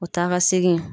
O taa ka segin